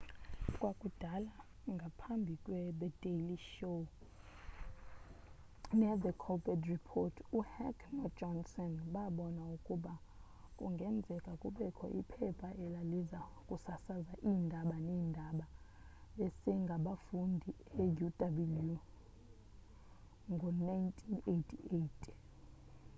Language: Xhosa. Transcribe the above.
kwakudala ngaphambi kwethe daily show nethe colbert report uheck nojohnson babona ukuba kungenzeka kubekho iphepha elaliza kusasaza iindaba-neendaba-besengabafundi euw ngo-1988